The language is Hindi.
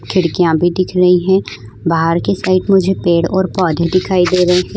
खिड़कियां भी दिख रही हैं बाहर की साइड मुझे पेड़ और पौधे दिखाई दे रहे हैं।